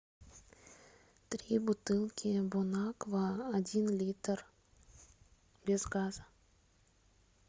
три бутылки бон аква один литр без газа